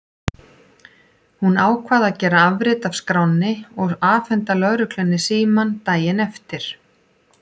Hún ákvað að gera afrit af skránni og afhenda lögreglunni símann daginn eftir.